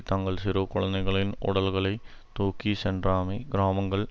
தங்கள் சிறு குழுந்தைகளின் உடல்களைத் தூக்கி சென்றாமை கிராமங்கள்